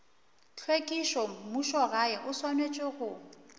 tlhwekišo mmušogae o swanetše go